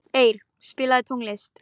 Eir, spilaðu tónlist.